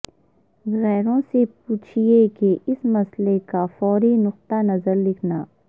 گروہوں سے پوچھیں کہ اس مسئلے کا فوری نقطہ نظر لکھنا